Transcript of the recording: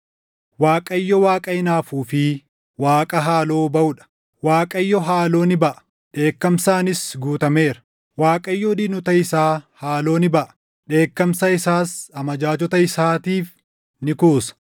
Waaqayyo Waaqa hinaafuu fi Waaqa haaloo baʼuu dha; Waaqayyo haaloo ni baʼa; dheekkamsaanis guutameera. Waaqayyo diinota isaa haaloo ni baʼa; dheekkamsa isaas amajaajota isaatiif ni kuusa.